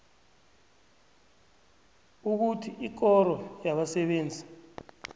ukuthi ikoro yabasebenzi